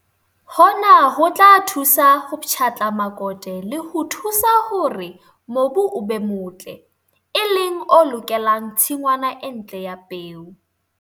Hona ho tla thusa ho pshatla makote le ho thusa hore mobu o be motle, e leng o lokelang tsingwana e ntle ya peo.